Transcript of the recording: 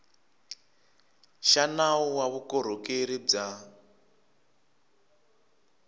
xa nawu wa vukorhokeri bya